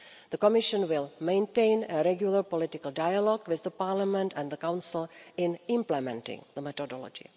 The Commission will maintain a regular political dialogue with Parliament and the Council in implementing the methodology.